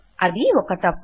అది ఒక తప్పు